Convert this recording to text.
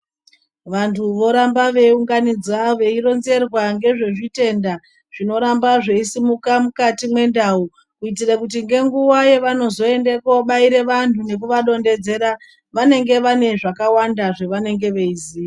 Vantu voramba vewunganidza veyironzerwa ngezvezvitenda zvinoramba zviyisimuka mukati mendawu, kuitire kuti ngenguwa yevanozoyendeko varayire vanhu nekuvarondedzera. Vanenge vene zvakawanda zvavanenge veyiziya.